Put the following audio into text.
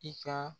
I ka